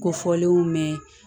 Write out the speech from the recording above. Ko fɔlenw mɛn